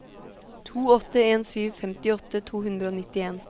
to åtte en sju femtiåtte to hundre og nittien